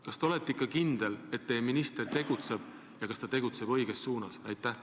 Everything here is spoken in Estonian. Kas te olete ikka kindel, et teie minister tegutseb õiges suunas?